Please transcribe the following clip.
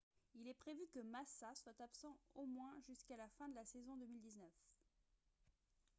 il est prévu que massa soit absent au moins jusqu'à la fin de la saison 2019